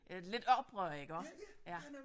Øh lidt oprør iggå ja